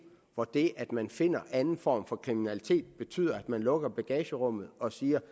hvor det at man finder anden form for kriminalitet betyder at man lukker bagagerummet og siger